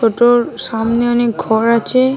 টোটোর সামনে অনেক ঘর আছে।